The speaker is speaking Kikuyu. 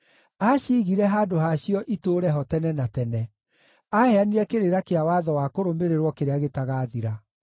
Aaciigire handũ hacio itũũre ho tene na tene; aaheanire kĩrĩra kĩa watho wa kũrũmĩrĩrwo kĩrĩa gĩtagathira.